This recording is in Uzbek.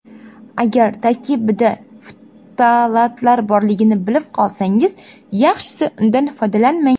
Agar tarkibida ftalatlar borligini bilib qolsangiz, yaxshisi undan foydalanmang.